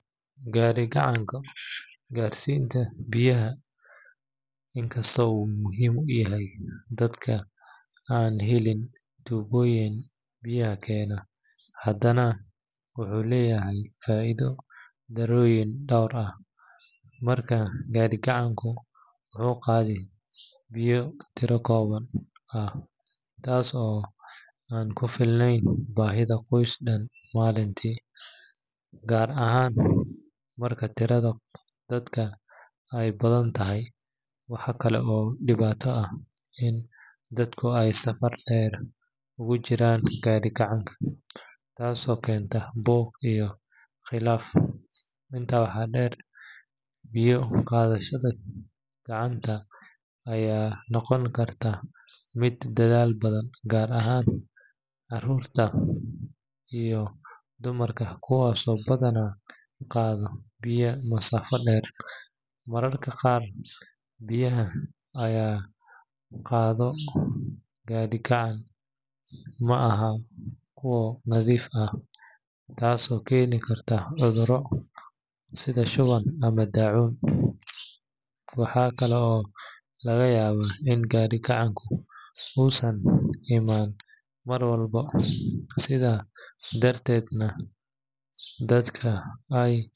Gaadhi-gacanka garsiinta biyaha inkastoo uu muhiim u yahay dadka aan helin tuubooyin biyaha keena, haddana wuxuu leeyahay faa’iido darooyin dhowr ah. Marka hore, gaadhi-gacanka wuxuu qaadaa biyo tiro kooban ah, taas oo aan ku filnayn baahida qoys dhan maalintii, gaar ahaan marka tirada dadka ay badan tahay. Waxaa kale oo dhibaato ah in dadku ay saf dheer ugu jiraan gaadhi-gacanka, taasoo keenta buuq iyo khilaaf. Intaa waxaa dheer, biyo qaadashada gacanta ayaa noqon karta mid daal badan, gaar ahaan carruurta iyo dumarka kuwaasoo badanaa qaada biyo masaafado dheer. Mararka qaar, biyaha laga qaado gaadhi-gacanka ma aha kuwo nadiif ah, taasoo keeni karta cudurro sida shuban ama daacuun. Waxa kale oo laga yaabaa in gaadhi-gacanka uusan imaan mar walba, sidaa darteedna dadka ay.